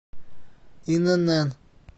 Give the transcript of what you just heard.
инн